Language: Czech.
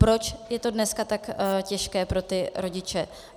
Proč je to dneska tak těžké pro ty rodiče?